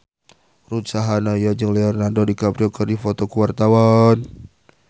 Ruth Sahanaya jeung Leonardo DiCaprio keur dipoto ku wartawan